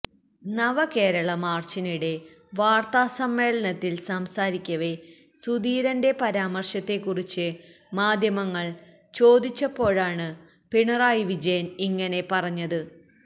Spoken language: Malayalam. നവകേരളമാര്ച്ചിനിടെ വാര്ത്താസമ്മേളനത്തില് സംസാരിക്കവെ സുധീരന്റെ പരാമര്ശത്തെക്കുറിച്ച് മാധ്യമങ്ങള് ചോദിച്ചപ്പോഴാണ് പിണറായി വിജയന് ഇങ്ങനെ പറഞ്ഞത്